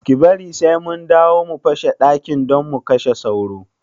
Ki bari sai mun dawo sai mu feshe dakin don mu kashe sauron